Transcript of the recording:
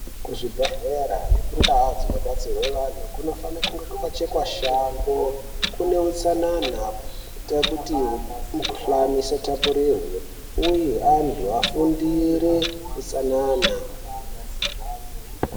Kuzvibhehlera nekundau dzino batsirwe anhu kunofane kunge kwakachekwa shango kuneutsanana kuita kuti mukuhlani isatapurirwe uye antu afundire utsanana